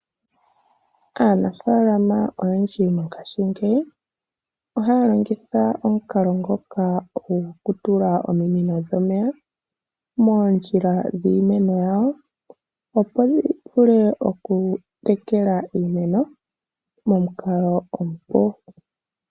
Aanafaalama oyendji mongashingeyi ohaya longitha omukalo ngoka goku tula ominino dhomeya moondjila dhìimeno yawo opo dhi vule oku tekela iimeno momukalo omupu.